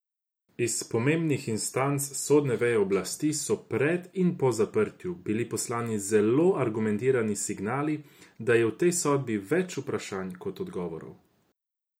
Iz pomembnih instanc sodne veje oblasti, so pred in po zaprtju, bili poslani zelo argumentirani signali, da je v tej sodbi več vprašanj kot odgovorov.